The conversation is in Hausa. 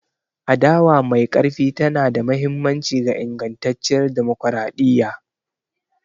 Adawa mai ƙarfi tana da mahimmanci ga ingantacciyar dimokuradiyya.